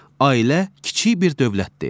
Ailə kiçik bir dövlətdir.